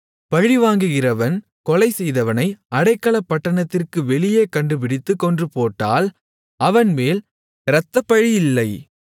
பழிவாங்குகிறவன் கொலை செய்தவனை அடைக்கலப்பட்டணத்திற்கு வெளியே கண்டுபிடித்துக் கொன்றுபோட்டால் அவன்மேல் இரத்தப்பழி இல்லை